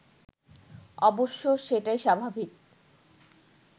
অবশ্য সেটাই স্বাভাবিক